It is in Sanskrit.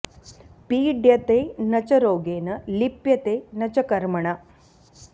पीड्यते न च रोगेण लिप्यते न च कर्मणा